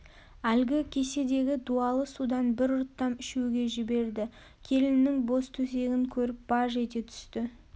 әлгі кеседегі дуалы судан бір ұрттам ішуге жіберді келіннің бос төсегін көріп баж ете түсті